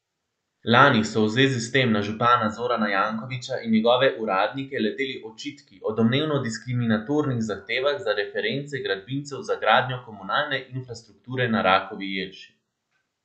Lani so v zvezi s tem na župana Zorana Jankovića in njegove uradnike leteli očitki o domnevno diskriminatornih zahtevah za reference gradbincev za gradnjo komunalne infrastrukture na Rakovi jelši.